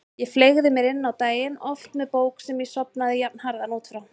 Ég fleygði mér á daginn, oft með bók sem ég sofnaði jafnharðan út frá.